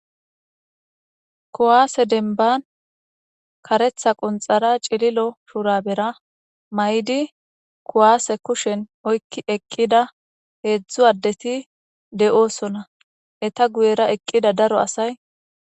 kuwaase denban karetha qunxara c'ililo shurabera mayidi kuwase kushen oykki eqqida heedzdzu addeti de7oosona eta guyera eqqida daro asay